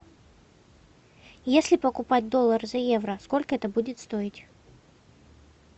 если покупать доллар за евро сколько это будет стоить